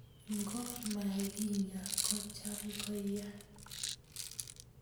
Ngo makinyaa ko cham ko yaa.